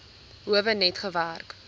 howe net gewerk